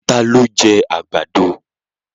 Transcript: Ta ló jẹ́ àgbàdo?